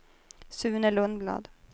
Sune Lundblad